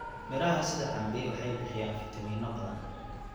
Miraha sida cambe waxay bixiyaan fiitamiino badan.